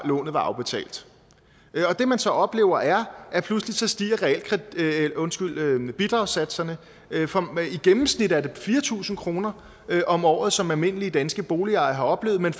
lånet var afbetalt det man så oplever er at pludselig stiger bidragssatserne i gennemsnit er det fire tusind kroner om året som almindelige danske boligejere har oplevet men